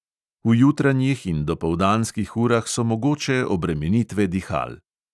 V jutranjih in dopoldanskih urah so mogoče obremenitve dihal.